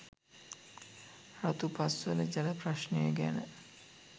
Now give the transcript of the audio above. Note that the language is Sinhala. රතුපස්වල ජල ප්‍රශ්නය ගැන